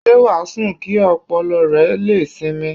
Ṣé wà á sùn kí ọpọlọ rẹ lè sinmi?